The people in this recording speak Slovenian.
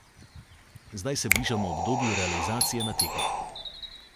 Zdaj se bližamo obdobju realizacije na tekmah.